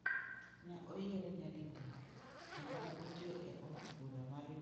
Ne oyiere nyadidek kendo ne otiyo e od bura mar Uganda kuom higni apar gachiel.